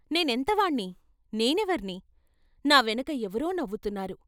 నేను ఎంత వాన్ని నేను ఎవరిని నా వెనక ఎవరో నవ్వుతున్నారు?